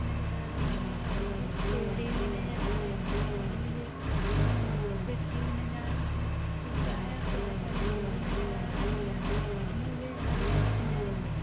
नज़र आ रही हैं और मुझे पेडे भी नज़र आ रहे हैं और मुझे अअअ खिड़की भी नज़र आ रही हैं उसमे शीशा है और प्याज़ हरे गोबी नज़र आ रहे हैं और मुझे हरियाली नज़र आ--